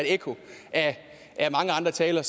et ekko af mange andre taler